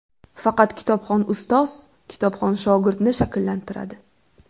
Faqat kitobxon ustoz kitobxon shogirdni shakllantiradi.